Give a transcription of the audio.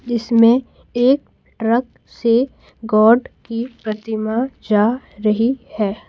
जिसमे एक ट्रक से गॉड की प्रतिमा जा रही है।